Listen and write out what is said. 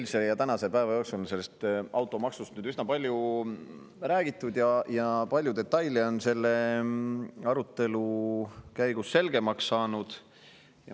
No eilse ja tänase päeva jooksul on sellest automaksust üsna palju räägitud ja palju detaile on selle arutelu käigus selgemaks saanud.